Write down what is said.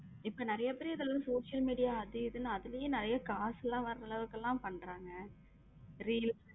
இப்போ நிறைய பேரு இதுல வந்து social media அது இது நான் அதிலேயே நிறைய காசெல்லாம் வர்ற அளவுக்கு எல்லாம் பண்றாங்க reel